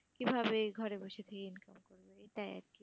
কিভাবে ঘরে বসে থেকে income করবে? এটাই আর কি বলতে চাচ্ছি